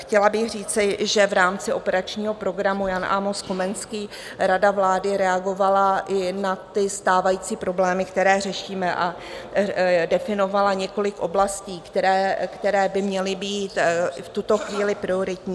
Chtěla bych říci, že v rámci operačního programu Jan Amos Komenský rada vlády reagovala i na ty stávající problémy, které řešíme, a definovala několik oblastí, které by měly být v tuto chvíli prioritní.